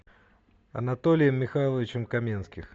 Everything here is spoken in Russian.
анатолием михайловичем каменских